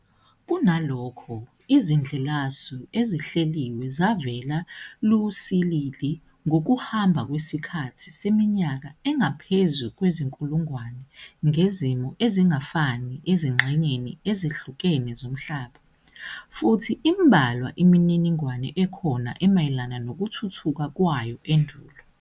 Kunalokho, izindlelasu ezihleliwe zavela lusilili ngokuhamba kwesikhathi seminyaka engaphezu kwezinkulungwane, ngezimo ezingafani ezingxenyeni ezihlukene zomhlaba, futhi inbalwa imininingwane ekhona emayelana nokuthuthuka kwayo endulo.